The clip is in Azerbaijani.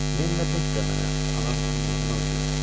Lenlə Bett də mənə anam kimi mehribandırlar.